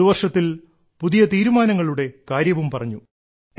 പുതുവർഷത്തിൽ പുതിയ തീരുമാനങ്ങളുടെ കാര്യവും പറഞ്ഞു